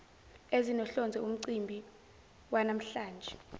ezinohlonze umcimbi wanamhlanje